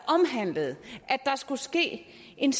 skulle ske en